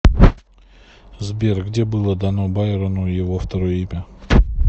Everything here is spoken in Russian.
сбер где было дано байрону его второе имя